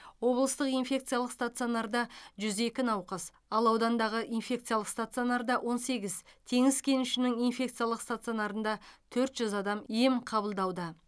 облыстық инфекциялық стационарда жүз екі науқас ал аудандағы инфекциялық стационарда он сегіз теңіз кенішінің инфекциялық стационарында төрт жүз адам ем қабылдауда